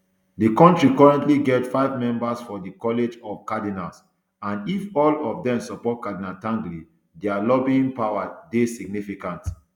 di kontri currently get five members for di college of cardinals and if all of dem support cardinal tagle dia lobbying power dey significant